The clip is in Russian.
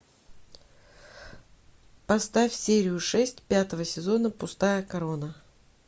поставь серию шесть пятого сезона пустая корона